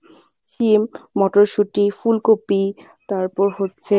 শিম, মটরশুটি, ফুলকপি তারপর হচ্ছে